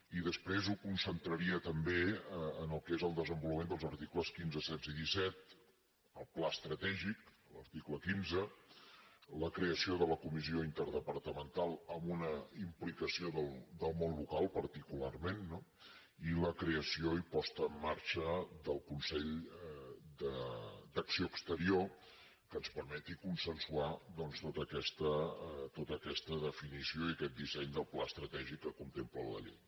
i després ho concentraria també en el que és el desenvolupament dels articles quinze setze i disset el pla estratègic a l’article quinze la creació de la comissió interdepartamental amb una implicació del món local particularment i la creació i posada en mar·xa del consell d’acció exterior que ens permeti con·sensuar tota aquesta definició i aquest disseny del pla estratègic que contempla la llei